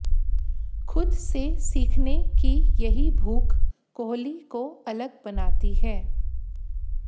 खुद से सीखने की यही भूख कोहली को अलग बनाती है